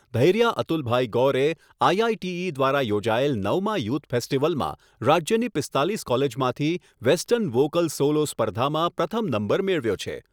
Dhairya Atulbhai Gore IITE દ્વારા યોજાયેલ નવમા યુથ ફેસ્ટિવલમાં રાજ્યની પીસ્તાલીસ કોલેજમાંથી વેસ્ટર્ન વોકલ સોલો સ્પર્ધામાં પ્રથમ નંબર મેળવ્યો છે.